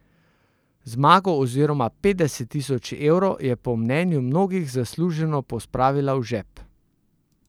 Zmago oziroma petdeset tisoč evrov je po mnenju mnogih zasluženo pospravila v žep.